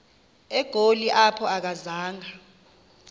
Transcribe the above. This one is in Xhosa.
egoli apho akazanga